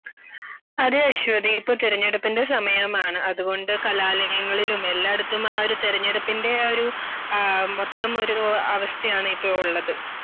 അതെ അശ്വതി ഇപ്പോ തിരഞ്ഞെടുപ്പിന്റെ സമയമാണ്. അതുകൊണ്ട് കലാലയങ്ങളിലും എല്ലായിടത്തും ആ ഒരു തിരഞ്ഞെടുപ്പിന്റെ ആ ഒരു ആ മൊത്തം ഒരു അവസ്ഥയാണിപ്പോൾ ഉള്ളത്